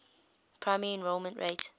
primary enrollment rate